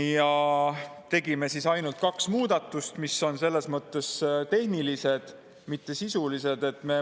Me tegime ainult kaks muudatust, mis on tehnilised, mitte sisulised.